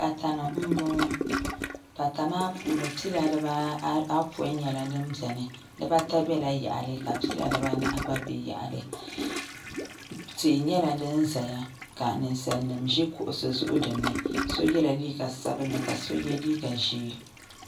pata ni m-bɔŋɔ pata maa puuni pila dibaa apɔin nyɛla din beni dibaata bela yaɣili ka pila dibaanahi gba be yaɣili tia nyɛla din zeya ka ninsalinima ʒi kuɣisi zuɣu dini so yela liiga sabinlli ka so ye liiga ʒee